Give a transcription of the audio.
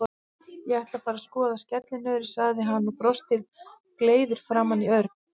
Ég ætla að fara að skoða skellinöðru, sagði hann og brosti gleiður framan í Örn.